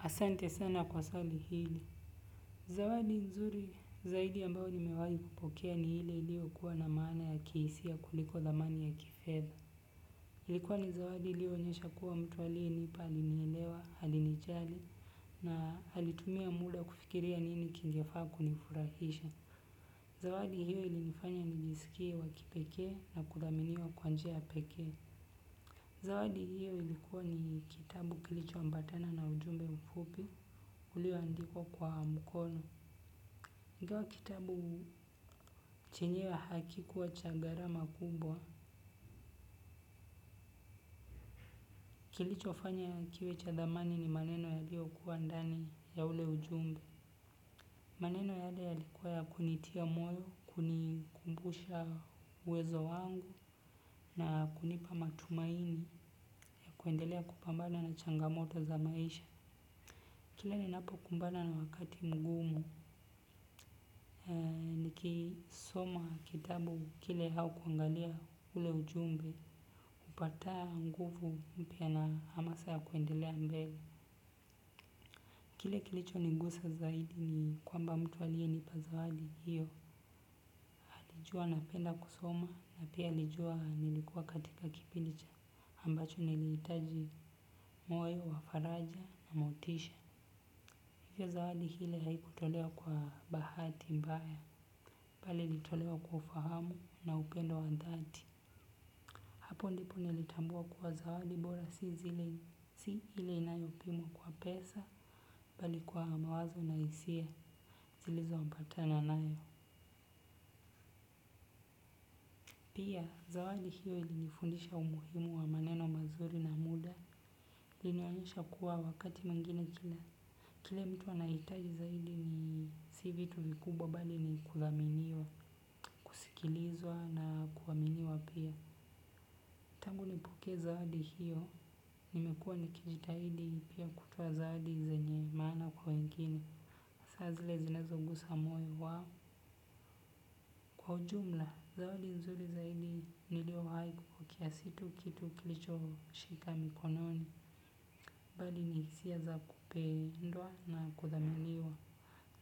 Asante sana kwa swali hili. Zawadi nzuri zaidi ambayo nimewahi kupokea ni ile iliyo kuwa na maana ya kihisia kuliko dhamani ya kifeza. Ilikua ni zawadi iliyo onyesha kuwa mtu aliyenipa amenielewa alinijali na alitumia muda kufikiria nini kingefaa kuni furahisha. Zawadi hio ilnifanya nijisikie wakipeke na kudhaminiwa kwanjia ya peke. Zawadi hiyo ilikuwa ni kitabu kilicho ambatana na ujumbe mfupi ulio andikwa kwa mkono. Ingawa kitabu chenye hakikuwa chagharama kumbwa, kilicho fanya kiwe cha thamani ni maneno ya lio kua ndani ya ule ujumbe. Maneno yale yalikuwa ya kunitia moyo, kunikumbusha uwezo wangu na kunipa matumaini ya kuendelea kupambana na changamoto za maisha. Kila ni napo kumbana na wakati mgumu. Niki soma kitabu kile hau kuangalia ule ujumbe. Upata nguvu mpya na hamasa ya kuendelea mbele. Kile kilicho nigusa zaidi ni kwamba mtu aliye nipa zawadi hiyo. Nijua napenda kusoma na pia qlijua nilikuwa katika kipindi cha. Ambacho nilihitaji moyo wa faraja na motisha. Hiyo zawadi hile haikutolewa kwa bahati mbaya, bali ilitolewa kwa ufahamu na upendo wa dhati. Hapo ndipo nilitambua kuwa zawadi bora si ile inayopimwa kwa pesa, bali kwa mawazo na hisia zilizo ambata na nayo. Pia, zawadi hiyo ilinifundisha umuhimu wa maneno mazuri na muda, ilinionyesha kuwa wakati mwingine kila. Kile mtu anahitaji zaidi ni sivitu vikubwa bali ni kuthaminiwa, kusikilizwa na kuaminiwa pia. Kule nipokee zawadi hiyo, nimekuwa nikijitahidi pia kutoa zawadi zenye maana kwa wengine. Sazile zinazogusa moyo wa. Kwa ujumla, zawadi nzuri zaidi nilio haiku kukia situ kitu kilicho shika mkononi. Bali ni hiasia za kupendwa na kuthaminiwa.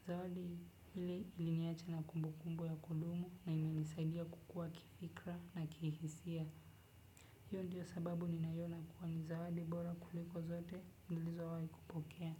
Zawadi hili iliniacha na kumbu kumbu ya kudumu na ime nisaidia kukua kifikra na kihisia. Hiyo ndiyo sababu ni nayona kuwa ni zawadi bora kuliko zote nilizo wai kupokea.